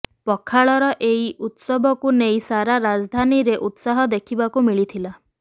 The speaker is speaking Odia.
ପଖାଳର ଏହି ଉତ୍ସବକୁ ନେଇ ସାରା ରାଜଧାନୀରେ ଉତ୍ସାହ ଦେଖିବାକୁ ମିଳିଥିଲା